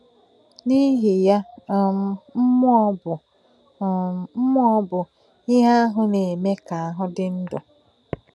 N’ìhì̄ yā, um mmú̄ọ̀ bụ̄ um mmú̄ọ̀ bụ̄ íhè àhụ̄ nā-è̄mè̄ kà áhū̄ dí̄ ndú̄.